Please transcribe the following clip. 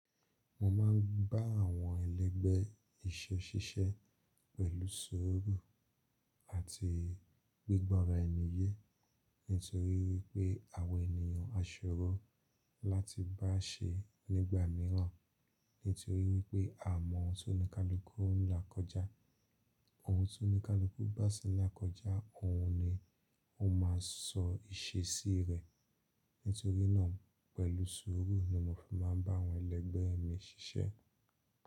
Mo máa ń bá àwọn ẹlẹ́gbẹ́ iṣẹ́ ṣiṣẹ́ pẹ̀lú sùúrù àti gbígbọ́ra ẹni yé. Nítorí wípé àwọn ènìyàn á ṣòro láti bá a ṣe nígbà mìíràn. Nítorí wípé a mọ ohun tó ní ká lọ kú ńlá kọjá, ohun tó ní ká lọ kú bá ṣẹ́ ńlá kọjá, òun ni ó máa sọ ìṣe sí rẹ̀. Nítorí náà pẹ̀lú sùúrù ni mo fi máa ń bá àwọn ẹlẹ́gbẹ́ mi ṣiṣẹ́.